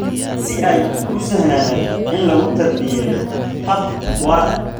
si ay u sahlanaato in lagu tarbiyeeyo hab waara.